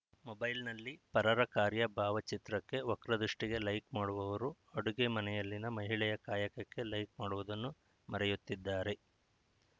ಮೊಬೈಲ್‌ನಲ್ಲಿ ಪರರ ಕಾರ್ಯ ಬಾವಚಿತ್ರಕ್ಕೆ ವಕ್ರ ದೃಷ್ಟಿಗೆ ಲೈಕ್‌ ಮಾಡುವವರು ಅಡುಗೆ ಮನೆಯಲ್ಲಿನ ಮಹಿಳೆಯ ಕಾಯಕಕ್ಕೆ ಲೈಕ್‌ ಮಾಡುವುದನ್ನು ಮರೆಯುತ್ತಿದ್ದಾರೆ